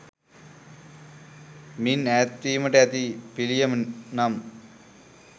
මින් ඈත්වීමට ඇති පිළියම නම්